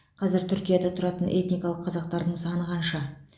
қазір түркияда тұратын этникалық қазақтардың саны қанша